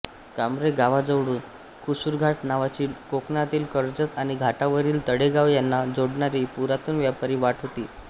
कांब्रे गावाजवळून कुसूरघाट नावाची कोकणातील कर्जत आणि घाटावरील तळेगाव यांना जोडणारी पुरातन व्यापारी वाट होती